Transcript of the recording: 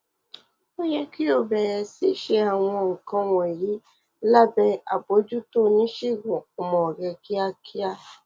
ó yẹ kí o bẹrẹ sí ṣe àwọn nǹkan wọnyí lábẹ àbójútó oníṣègùn ọmọ rẹ kíákíá